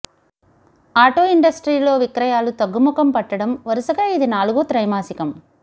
auto ఇండస్ట్రీలో విక్రయాలు తగ్గుముఖం పట్టడం వరుసగా ఇది నాలుగో త్రైమాసికం